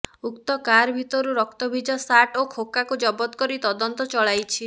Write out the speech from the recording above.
ଉକ୍ତ କାର ଭିତରୁ ରକ୍ତଭିଜା ଶାର୍ଟ ଓ ଖୋକାକୁ ଜବତ କରି ତଦନ୍ତ ଚଳାଇଛି